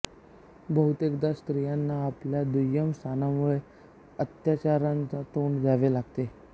बहुतेकदा स्त्रियांना आपल्या दुय्यम स्थानामुळे अत्याचारांना तोंड द्यावे लागते